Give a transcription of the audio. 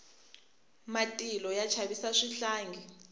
matilo ya chavisa swihlangi